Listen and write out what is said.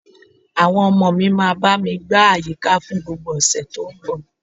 Àwọn ọmọ mi máa bá mi gbá àyíká fún gbogbo ọ̀sẹ̀ tó ń bọ̀